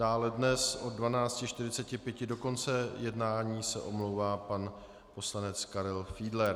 Dále dnes od 12.45 do konce jednání se omlouvá pan poslanec Karel Fiedler.